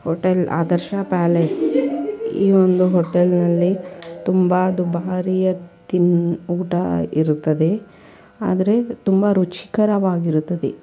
Hotel Adarsha palace . ಈ ಒಂದು hotel ನಲ್ಲಿ ತುಂಬಾ ದುಬಾರಿಯ ತಿನ್-ಊಟ ಇರುತ್ತದೆ. ಆದ್ರೆ ತುಂಬಾ ರುಚಿಕರವಾಗಿರುತ್ತದೆ.